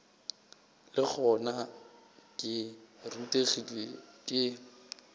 le gona ke rutegile ke